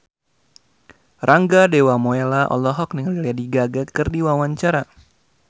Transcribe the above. Rangga Dewamoela olohok ningali Lady Gaga keur diwawancara